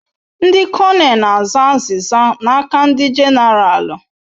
Ndi kọnel na aza aziza n'aka ndi genaralu